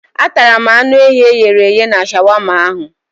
Atara m anụ ehi e ghere eghe na shawama ahụ.